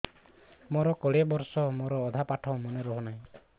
ମୋ କୋଡ଼ିଏ ବର୍ଷ ମୋର ଅଧା ପାଠ ମନେ ରହୁନାହିଁ